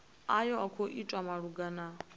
ayo a khou itwa malugana